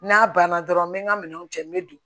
N'a banna dɔrɔn n bɛ n ka minɛnw cɛ n bɛ don